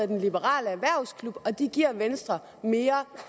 den liberale erhvervsklub og at den giver venstre mere